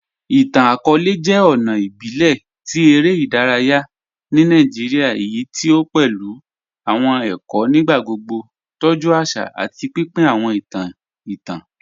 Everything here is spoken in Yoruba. Ìtàn-akọọ̀lẹ̀ jẹ́ ọ̀nà ìbílẹ̀ tí èrè idàráyà ni Nàìjíríà èyí tí o pẹ̀lú awọn èkó nígbàgbogbo, tọ́jú àṣà, àti pínpín awọn ìtàn ìtàn.